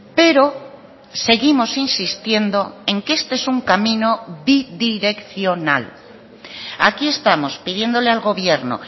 pero seguimos insistiendo en que este es un camino bidireccional aquí estamos pidiéndole al gobierno